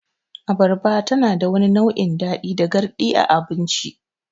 Abarba tanada wani nau'in daɗi da garɗi a abinci.